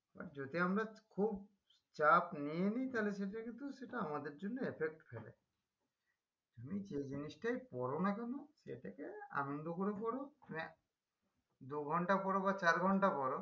আর যদি আমরা খুব চাপ নিয়ে নি তাহলে সেটা কিন্তু সেটা আমাদের জন্য effect করে তুমি যেই জিনিসটাই পড়ো না কেন সেটাকে আন্নন্দ করে পড়ো মানে দু ঘন্টা পড়ো বা চার ঘন্টা পড়ো